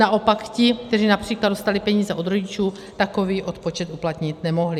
Naopak ti, kteří například dostali peníze od rodičů, takový odpočet uplatnit nemohli.